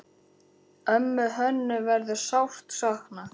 Ömmu Hönnu verður sárt saknað.